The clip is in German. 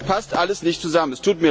Das passt alles nicht zusammen.